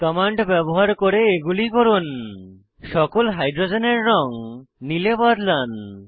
command ব্যবহার করে এগুলি করুন সকল হাইড্রোজেনের রঙ নীল এ বদলান